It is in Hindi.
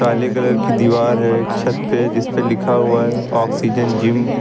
काले कलर की दीवार है एक छत है जिस पे लिखा हुआ है ऑक्सीजन जिम ।